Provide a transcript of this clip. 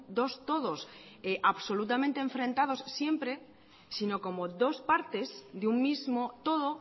dos todos absolutamente enfrentados siempre sino como dos partes de un mismo todo